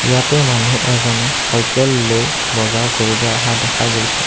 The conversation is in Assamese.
ইয়াতে মানুহ এজনে চাইকেল লৈ বজাৰ কৰিব অহা দেখা গৈছে।